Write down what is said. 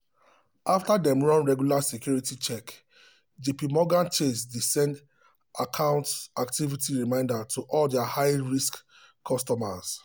after dem run regular security check jpmorgan chase dey send account activity reminder to all their high-risk customers.